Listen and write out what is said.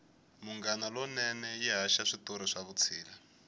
munghana lonene yi haxa switori swa vutshila